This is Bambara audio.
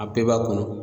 A bɛɛ b'a kɔnɔ